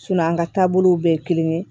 an ka taabolow bɛɛ ye kelen ye